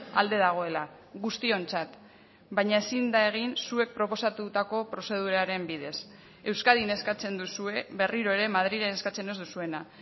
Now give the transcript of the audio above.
alde dagoela guztiontzat baina ezin da egin zuek proposatutako prozeduraren bidez euskadin eskatzen duzue berriro ere madrilen eskatzen ez duzuena